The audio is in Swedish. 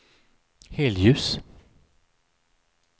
helljus